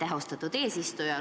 Aitäh, austatud eesistuja!